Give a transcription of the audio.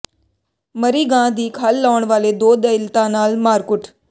ਮਰੀ ਗਾਂ ਦੀ ਖੱਲ ਲਾਹੁਣ ਵਾਲੇ ਦੋ ਦਲਿਤਾਂ ਨਾਲ ਮਾਰਕੁੱਟ